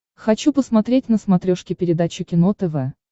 хочу посмотреть на смотрешке передачу кино тв